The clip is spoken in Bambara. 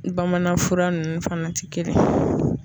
Bamananfura ninnu fana ti kelen.